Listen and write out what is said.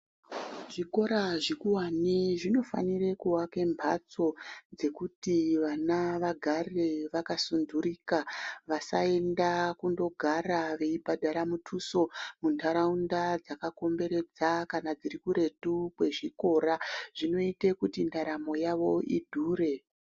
Zvikora zvikuwane zvinofanire kuwaka mbatso dzekuti vana vagare vakasundurika vasaenda kundoogara veibhara mutuso muntaraunda dzakakomberedza kana dziri kuretu kwezvikora zvinoite kuti ndaramo yavo idhure.